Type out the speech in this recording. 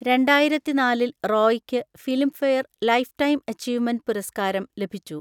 രണ്ടായിരത്തി നാലിൽ റോയിക്ക് Filmfare life time achievement പുരസ്കാരം ലഭിച്ചു.